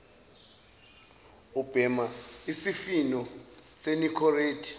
ubhema isifutho senicorette